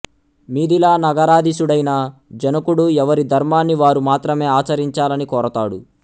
మిధిలా నగరాధీశుడైన జనకుడు ఎవరి ధర్మాన్ని వారు మాత్రమే ఆచరించాలని కోరతాడు